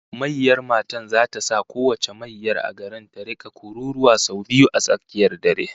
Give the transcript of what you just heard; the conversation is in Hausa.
Mayyar matan zata sa kowace mayyar a garin ta rika kururuwa sau biyu a tsakiyar dare